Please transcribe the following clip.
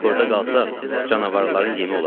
Burda qalsaq canavarların yemi olarıq.